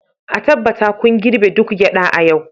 a tabbata kun girbe duk gyada a yau